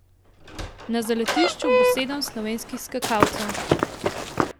Na zaletišču bo sedem slovenskih skakalcev.